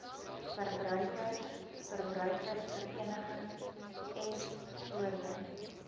verbruikers verbruikersverenigings voorheen